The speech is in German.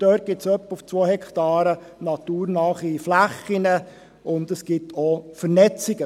Dort gibt es auf etwa 2 Hektaren naturnahe Flächen und es gibt auch Vernetzungen.